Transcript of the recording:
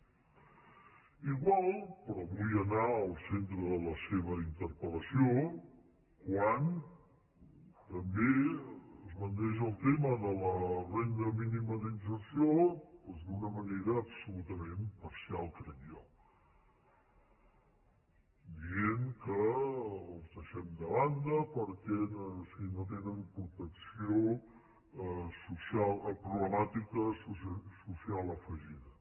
igual però vull anar al centre de la seva interpelquan també esbandeix el tema de la renda mínima d’inserció d’una manera absolutament parcial crec jo dient que els deixem de banda perquè no tenen protecció social a problemàtica social afegida